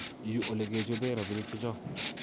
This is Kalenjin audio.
Yu olekechobee rabiinik checho